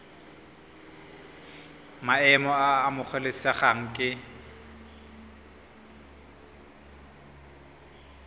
maemo a a amogelesegang ke